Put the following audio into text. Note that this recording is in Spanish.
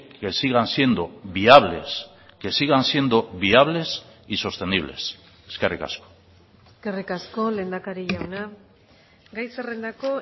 que sigan siendo viables que sigan siendo viables y sostenibles eskerrik asko eskerrik asko lehendakari jauna gai zerrendako